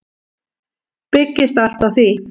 Byggist allt á því.